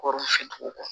Kɔrɔw si kɔ